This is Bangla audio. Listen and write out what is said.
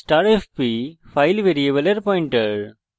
* fp হল file ভ্যারিয়েবলের পয়েন্টার